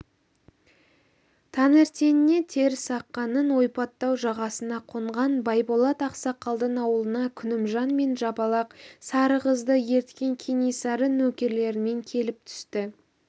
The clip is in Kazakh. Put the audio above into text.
таңертеңіне терісаққанның ойпаттау жағасына қонған байболат ақсақалдың ауылына күнімжан мен жапалақ сары қызды ерткен кенесары нөкерлерімен келіп түсті